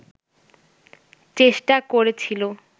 চেষ্টা করেছিল